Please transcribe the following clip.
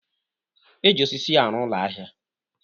Eji osisi arụ ụlọ ahịa